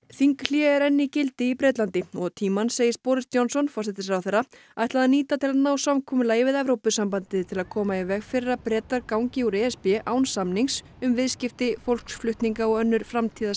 þinghlé er enn í gildi í Bretlandi og tímann segist Johnson forsætisráðherra ætla að nýta til að ná samkomulagi við Evrópusambandið til að koma í veg fyrir að Bretar gangi úr e s b án samnings um viðskipti fólksflutninga og önnur